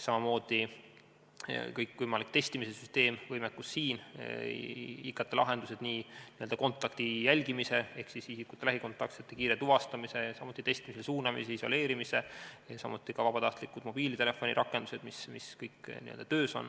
Samamoodi kõikvõimalik testimise süsteem, võimekus, st IKT-lahendused kontaktide jälgimiseks ehk isikute lähikontaktsete kiireks tuvastamiseks ja testimisele suunamiseks, isoleerimiseks, samuti vabatahtlikud mobiiltelefonirakendused, mis on töös.